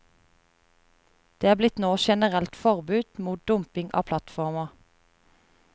Det er nå blitt generelt forbud mot dumping av plattformer.